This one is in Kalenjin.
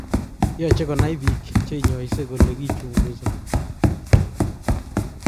Yoche konai bik cheinyose kole kichukusoni